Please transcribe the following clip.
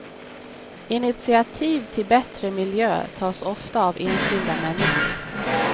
Initiativ till bättre miljö tas ofta av enskilda människor.